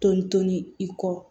Toli to ni i kɔ